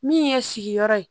Min ye sigiyɔrɔ ye